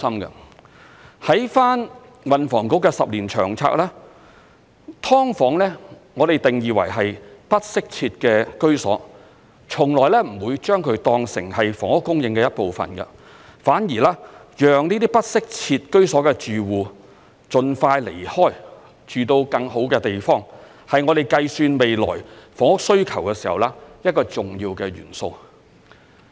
參考運房局10年期的《長遠房屋策略》，"劏房"被我們定義為不適切的居所，從來不會將其當成房屋供應的一部分，反而讓這些不適切居所的住戶盡快離開，住到更好的地方，是我們計算未來房屋需求時一個重要的元素。